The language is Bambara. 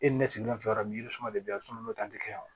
E ni ne sigilen fɛ yɔrɔ min suman de be yan sunɔgɔ n'o ta te kɛ o